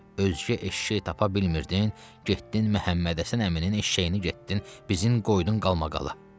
Özgə eşşək tapa bilmirdin, getdin Məhəmməd Həsən əminin eşşəyini getdin bizim qoydun qalmaqala.